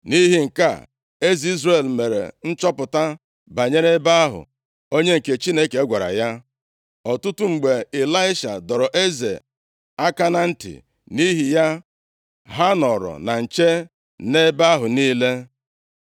Nʼihi nke a, eze Izrel mere nchọpụta banyere ebe ahụ onye nke Chineke gwara ya. Ọtụtụ mgbe Ịlaisha dọrọ eze aka na ntị, nʼihi ya, ha nọrọ na nche nʼebe ahụ niile.